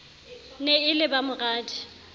ne e le ba moradi